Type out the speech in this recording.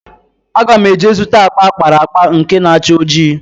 Aga m eje zụta akpa akpara akpa nke na-acha ojii.